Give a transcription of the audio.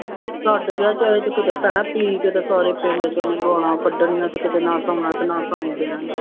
ਛੱਡ ਗਿਆ ਚਾਹੇ ਤੇ ਕਿਤੇ ਪੈਣਾ ਪੀ ਕੇ ਅਤੇ ਸਾਰੇ ਪਿੰਡ ਚ ਉਹਨੇ ਗਾਲਾਂ ਕੱਢਣੀਆਂ ਅਤੇ ਕਿਤੇ ਨਾ ਸੌਣਾ ਨਾ ਸੌਣ ਦੇਣਾ